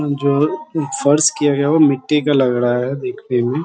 जो फर्श किया गया है वो मिट्टी का लग रहा है देखने में |